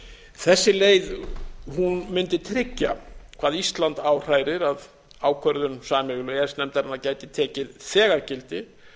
þessi leið mundi tryggja hvað ísland áhrærir að ákvörðun sameiginlegu e e s nefndarinnar gæti tekið þegar gildi